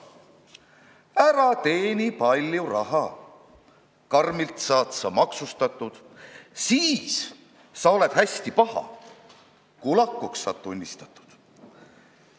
Ära teeni palju raha, karmilt saad sa maksustatud, siis sa oled hästi paha, kulakuks saad tunnistatud.